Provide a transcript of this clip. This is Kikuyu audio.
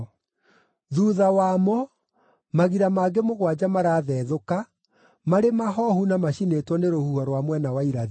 Thuutha wamo, magira mangĩ mũgwanja marathethũka, marĩ mahoohu na macinĩtwo nĩ rũhuho rwa mwena wa irathĩro.